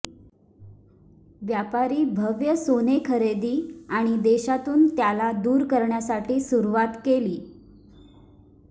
व्यापारी भव्य सोने खरेदी आणि देशातून त्याला दूर करण्यासाठी सुरुवात केली